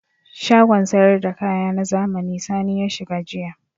Shagon sayar da kaya na zamani Sani ya shiga jiya.